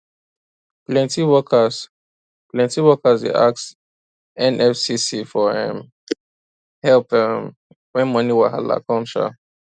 plenty workers plenty workers dey ask nfcc for um help um when money wahala come um